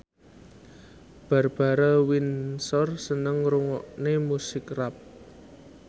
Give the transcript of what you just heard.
Barbara Windsor seneng ngrungokne musik rap